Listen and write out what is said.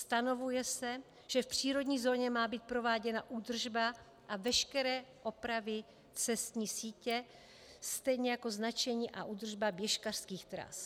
Stanovuje se, že v přírodní zóně má být prováděna údržba a veškeré opravy cestní sítě, stejně jako značení a údržba běžkařských tras.